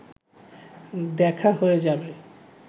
দেখা হয়ে যাবে